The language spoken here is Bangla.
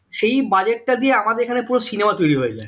সেই budget টা দিয়ে আমাদের এখানে পুরো cinema তৈরি হয়ে যাই